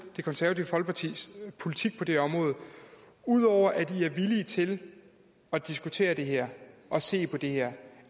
det konservative folkepartis politik på det her område ud over at i er villige til at diskutere det her og se på det her